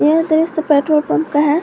यह दृश्य petrol pump का है।